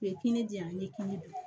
U ye kinni di yan n'i ye kini dun